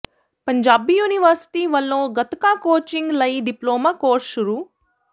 Punjabi university ਵੱਲੋਂ gatka coaching ਲਈ diploma course ਸ਼ੁਰੂ